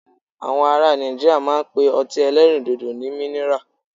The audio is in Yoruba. Àwọn ará Nàìjíríà máa ń pe ọtí ẹlẹ́rìndòdò ní minira.